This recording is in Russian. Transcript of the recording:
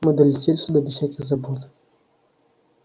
мы долетели сюда без всяких забот